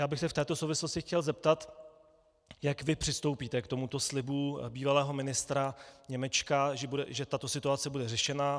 Já bych se v této souvislosti chtěl zeptat, jak vy přistoupíte k tomuto slibu bývalého ministra Němečka, že tato situace bude řešena.